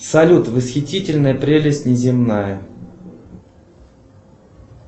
салют восхитительная прелесть неземная